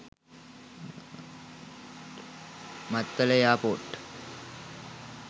mattala airport